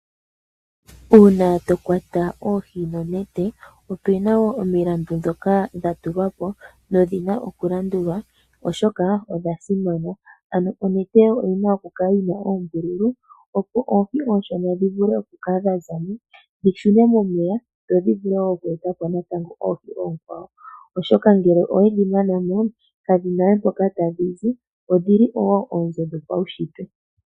Uuna to kwata pohi nonete opena omilandu dhoka dha tulwa po nodhina okulandulwa oshoka odha simana. Ano onete oyina okukala yi na oombululu opo oohi ooshona dhi vule okukala dha zamo, dhi shune momeya dho dhi vule oku eta po natango oohi oonkwawo. Oshoka ngele owedhi mana mo kadhina we mpoka tadhi zi, odhili po oonzo dhopaunshitwe.